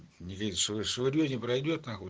не веришь что орете пройдёт нахуй